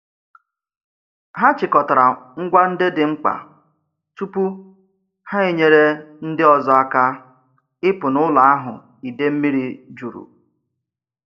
Ha chịkọtara ngwa ndị dị mkpa tupu ha enyere ndị ọzọ aka ịpụ n'ụlọ ahụ idei mmiri juru.